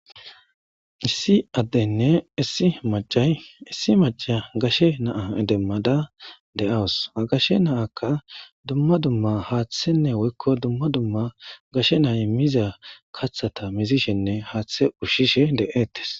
issi addenne issi macay issi maca gashe naa demmada de7awus ha gashe naakka dumma dumma haaththenne woykko dumma dumma gashe nay miza kathata mizishenne haaththe ushshishe de7ettes